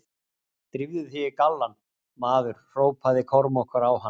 Drífðu þig í gallann, maður, hrópaði Kormákur á hann.